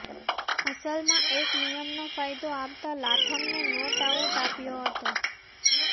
અસલમાં એક નિયમનો ફાયદો આપતા લાથમને નોટ આઉટ આપ્યો હતો